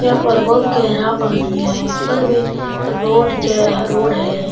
यहां पर बहुत गेहरा पानी है ऊपर में रोड जे रोड है।